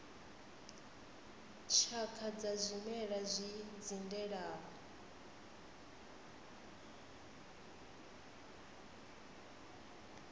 tshakha dza zwimela zwi dzindelaho